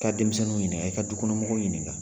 Ka denmisɛnninw ɲininka i ka dukɔnɔ mɔgɔw ɲininka.